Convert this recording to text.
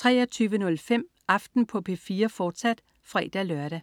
23.05 Aften på P4, fortsat (fre-lør)